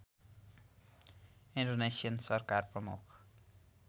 Indonesian सरकार प्रमुख